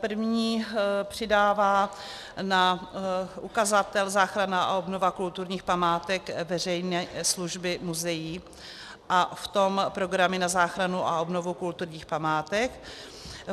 První přidává na ukazatel záchrana a obnova kulturních památek veřejné služby muzeí, a v tom programy na záchranu a obnovu kulturních památek.